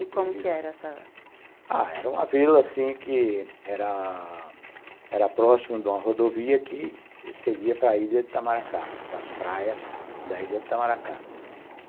E como é que era essa... Ah, era uma vila, assim, que era era próxima de uma rodovia que seguia para a ilha de Itamaracá, para as praias da ilha de Itamaracá.